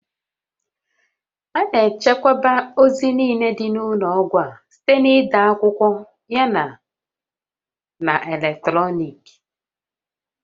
A na-echekwa ozi niile dị n'ụlọọgwụ a site n'ide n'akwụkwọ yana na eletrọnịkị